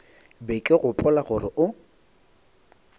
be ke gopola gore o